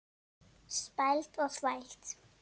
Spæld og þvæld.